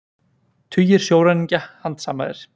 Tugir sjóræningja handsamaðir